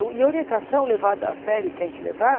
O e orientação levada a sério e tem que levar?